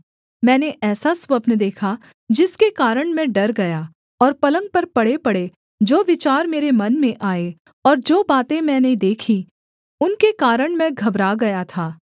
मैंने ऐसा स्वप्न देखा जिसके कारण मैं डर गया और पलंग पर पड़ेपड़े जो विचार मेरे मन में आए और जो बातें मैंने देखीं उनके कारण मैं घबरा गया था